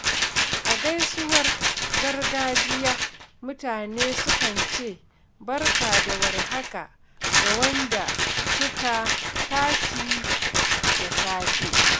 A gaisuwar gargajiya, mutane sukan ce “Barka da war haka” ga wanda suka tashi da safe.